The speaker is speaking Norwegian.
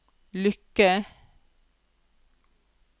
lykke